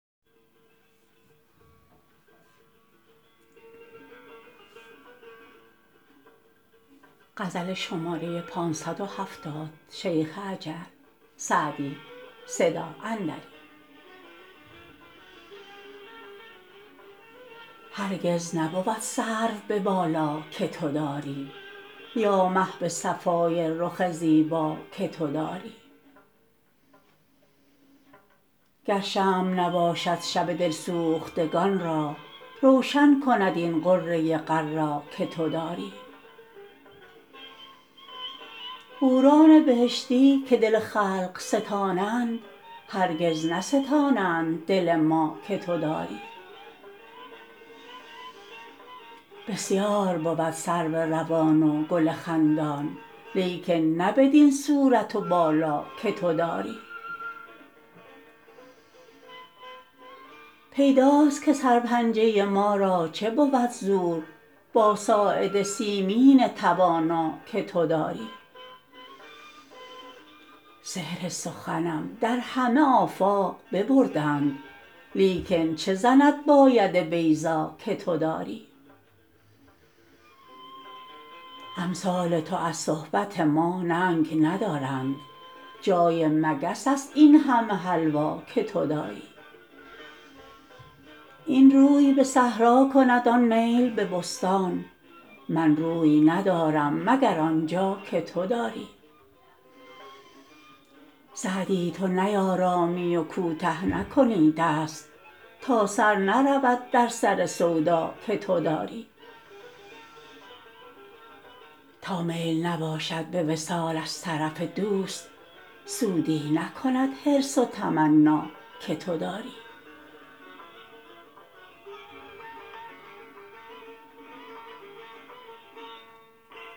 هرگز نبود سرو به بالا که تو داری یا مه به صفای رخ زیبا که تو داری گر شمع نباشد شب دل سوختگان را روشن کند این غره غر‍ ا که تو داری حوران بهشتی که دل خلق ستانند هرگز نستانند دل ما که تو داری بسیار بود سرو روان و گل خندان لیکن نه بدین صورت و بالا که تو داری پیداست که سرپنجه ما را چه بود زور با ساعد سیمین توانا که تو داری سحر سخنم در همه آفاق ببردند لیکن چه زند با ید بیضا که تو داری امثال تو از صحبت ما ننگ ندارند جای مگس است این همه حلوا که تو داری این روی به صحرا کند آن میل به بستان من روی ندارم مگر آن جا که تو داری سعدی تو نیآرامی و کوته نکنی دست تا سر نرود در سر سودا که تو داری تا میل نباشد به وصال از طرف دوست سودی نکند حرص و تمنا که تو داری